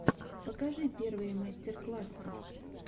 покажи первые мастер классы